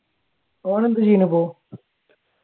ഓൻ എന്താ ചെയ്യുന്നത് ഇപ്പൊ?